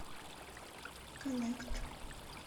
коннект